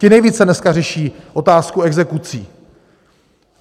Ti nejvíce dneska řeší otázku exekucí.